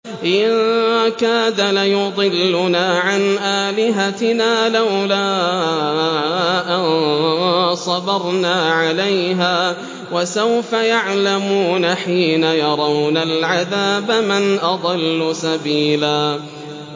إِن كَادَ لَيُضِلُّنَا عَنْ آلِهَتِنَا لَوْلَا أَن صَبَرْنَا عَلَيْهَا ۚ وَسَوْفَ يَعْلَمُونَ حِينَ يَرَوْنَ الْعَذَابَ مَنْ أَضَلُّ سَبِيلًا